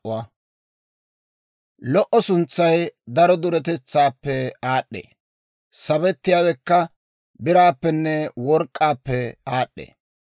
Lo"o suntsay daro duretetsaappe aad'd'ee; sabettiyaawekka biraappenne work'k'aappe aad'd'ee.